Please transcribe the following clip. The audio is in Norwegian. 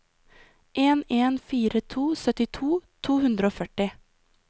en en fire to syttito to hundre og førti